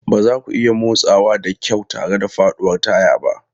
Ba za ku iya motsawa da kyau tare da faɗuwar taya ba.